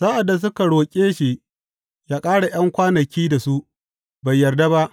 Sa’ad da suka roƙe shi ya ƙara ’yan kwanaki da su, bai yarda ba.